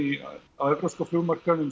á evrópska flugmarkaðnum